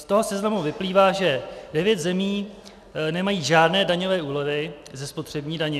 Z toho seznamu vyplývá, že devět zemí nemají žádné daňové úlevy ze spotřební daně.